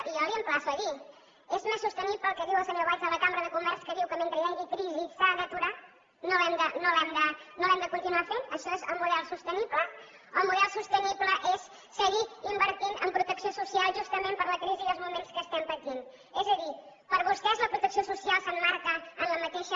i jo l’emplaço a dir és més sostenible el que diu el senyor valls de la cambra de comerç que diu que mentre hi hagi crisi s’ha d’aturar no l’hem de continuar fent això és el model sostenible o el model sostenible és seguir invertint en protecció social justament per la crisi i els moments que estem patint és a dir per vostès la protecció social s’emmarca en la mateixa